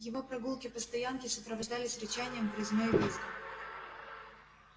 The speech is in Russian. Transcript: его прогулки по стоянке сопровождались рычанием грызней визгом